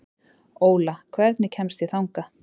Óla, hvernig kemst ég þangað?